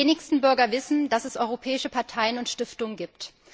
Die wenigsten Bürger wissen, dass es europäische Parteien und Stiftungen gibt.